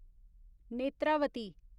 Netravati